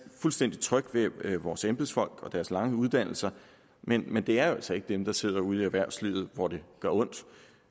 fuldstændig tryg ved vores embedsfolk og deres lange uddannelser men men det er altså ikke dem der sidder ude i erhvervslivet hvor det gør ondt